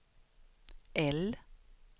L